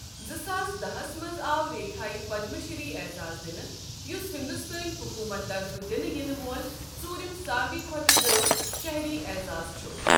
زٕ ساس داہس منٛز آو ریکھایہ پَدمہٕ شِری عیزاز دِنہٕ، یُس ہِنٛدُستٲنۍ حُکوٗمت طرفہٕ دِنہٕ یِنہٕ وول ژوُرِم سارِوٕے کھۄتہٕ بوٚڈ شٔہری اعزاز چُھ ۔